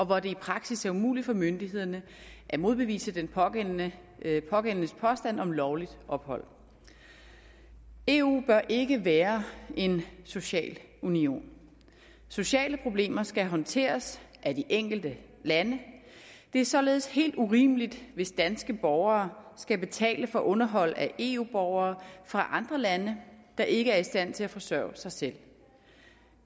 hvor det i praksis er umuligt for myndighederne at modbevise den pågældendes pågældendes påstand om lovligt ophold eu bør ikke være en social union sociale problemer skal håndteres af de enkelte lande det er således helt urimeligt hvis danske borgere skal betale for underhold af eu borgere fra andre lande der ikke er i stand til at forsørge sig selv